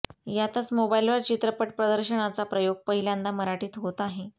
यातच मोबाइलवर चित्रपट प्रदर्शनाचा प्रयोग पहिल्यांदा मराठीत होत आहे